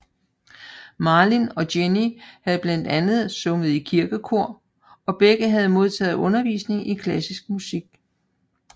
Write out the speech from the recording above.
Malin og Jenny havde blandt andet sunget i kirkekor og begge havde modtaget undervisning i klassisk musik